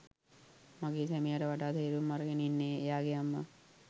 මගේ සැමියාට වඩා තේරුම් අරගෙන ඉන්නේ එයාගේ අම්මා.